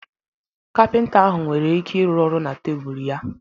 Kapịnta ahụ nwere ike ịrụ ọrụ na tebụl ya